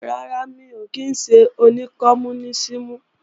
Rárá, mi ò kí ńṣe oní kọmúnísìmù